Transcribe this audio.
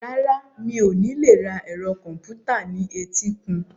Rárá, mi ò ní lè ra ẹ̀rọ kọ̀m̀pútà ní etíkun.